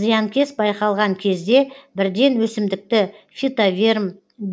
зиянкес байқалған кезде бірден өсімдікті фитоверм